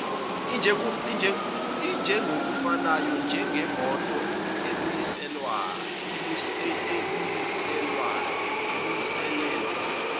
injengokufanayo njengemoto ebuyiselelwa